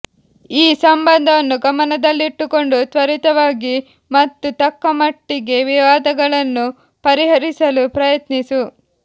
ಈ ಸಂಬಂಧವನ್ನು ಗಮನದಲ್ಲಿಟ್ಟುಕೊಂಡು ತ್ವರಿತವಾಗಿ ಮತ್ತು ತಕ್ಕಮಟ್ಟಿಗೆ ವಿವಾದಗಳನ್ನು ಪರಿಹರಿಸಲು ಪ್ರಯತ್ನಿಸು